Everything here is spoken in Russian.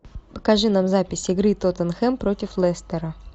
покажи нам запись игры тоттенхэм против лестера